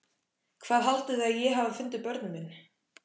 Hvað haldið þið að ég hafi fundið börnin mín?